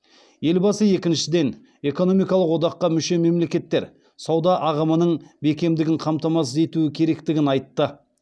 елбасы екіншіден экономикалық одаққа мүше мемлекеттер сауда ағымының бекемдігін қамтамасыз етуі керектігін айтты